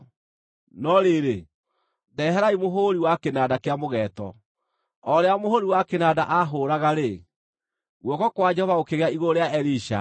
No rĩrĩ, ndeherai mũhũũri wa kĩnanda kĩa mũgeeto.” O rĩrĩa mũhũũri wa kĩnanda aahũraga-rĩ, guoko kwa Jehova gũkĩgĩa igũrũ rĩa Elisha